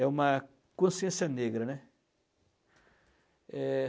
É uma consciência negra, né. Eh...